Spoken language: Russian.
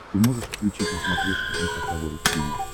ты можешь включить на смотрешке эн эйч кей волд ти ви